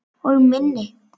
Og minni.